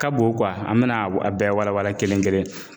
Ka bon an bɛn'a w a bɛɛ walawala kelen-kelen.